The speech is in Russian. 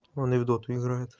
он и в доту играет